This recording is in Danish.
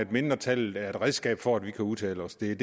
mindretallet er et redskab for at vi kan udtale os det er